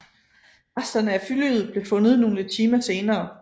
Resterne af flyet blev fundet nogle timer senere